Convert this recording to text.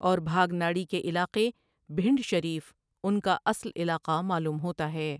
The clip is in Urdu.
اور بھاگ ناڑی کے علاقے بھنڈ شریف ان کا اصل علاقہ معلوم ہوتا ہے۔